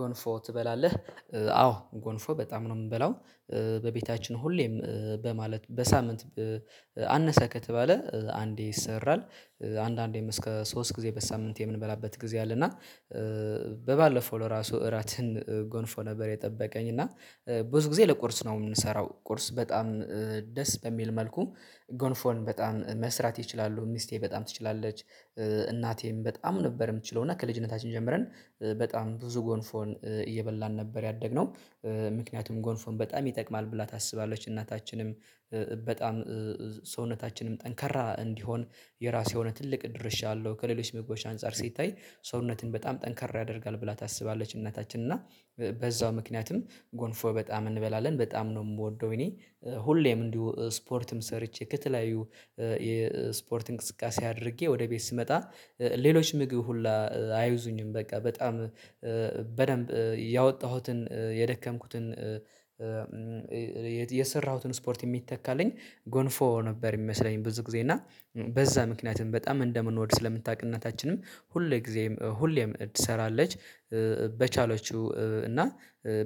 ጎንፎ ትበላለህ? አዎ ጎንፎ በጣም ነው የምበላው። በቤታችን ሁሌም በማለት በሳምንት አነሰ ከተባለ አንዴ ይሰራል አንዳንዴም እስከ ሶስት ጊዜ በሳምንት የምንበላበት ጊዜ አለ። እና በባለፈው ለራሱ እራትም ጎንፎ ነበር የጠበቀኝ እና ብዙ ጊዜ ለቁርስ ነው የምንሰራው ቁርስ በጣም ደስ በሚል መልኩ ጎንፎን በጣም መስራት ይችላሉ ሚስቴ በጣም ትችላለች እናቴም በጣም ነበር የምትችለው እና ከልጅነታችን ጀምረን በጣም ብዙ ጎንፎን እየበላን ነበር ያደግነው። ምክንያቱም ጎንፎን በጣም ይጠቅማል ብላ ታስባለች እናታችንም በጣም ሰውነታችንም ጠንካራ እንዲሆን የራሱ የሆነ ትልቅ ድርሻ አለው ከሌሎች ምግቦች አንፃር ሲታይ ሰውነትን በጣም ጠንካራ ያደርጋል ብላ ታስባለች እናታችን እና በዛው ምክንያትም ጎንፎ በጣም እንበላለን በጣም ነው የምወደው። እኔ ሁሌም እንዲሁ ስፖርትም ሰርቼ ከተለያዩ የስፖርት እንቅስቃሴ አድርጌ ወደ ቤት ስመጣ ሌሎች ምግብ ሁላ አይዙኝም በቃ በጣም በደንብ ያወጣሁትን የደከምኩትን የሰራሁትን ስፖርት የሚተካልኝ ጎንፎ ነበር። የሚመስለኝ ብዙ ጊዜ እና በዛ ምክንያትም በጣም እንደምንወድ ስለምታውቅ እናታችንም ሁሌ ጊዜም ሁሌም ትሰራለች። በቻለችው እና